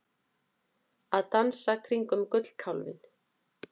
Að dansa kringum gullkálfinn